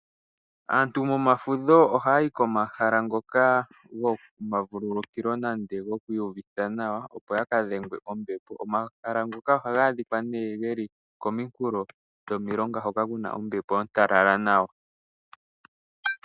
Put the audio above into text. Aantu momafudho ohaya yi komahala ngoka gomavululukilo nenge gokwiiyuvitha nawa opo ya ka dhengwe kombepo. Omahala ngoka ohaga adhikwa nee ge li kominkulo dhomilonga hoka ku na ombepo ontalala nawa.